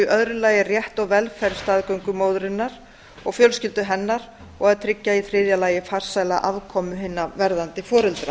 lagi rétt sjálfræði og velferð staðgöngumóðurinnar og fjölskyldu hennar og að tryggja í þriðja lagi farsæla aðkomu hinna verðandi foreldra